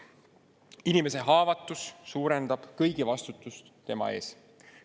Inimese haavatavus suurendab kõigi vastutust tema eest.